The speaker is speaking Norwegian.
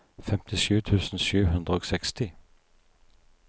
femtisju tusen sju hundre og seksti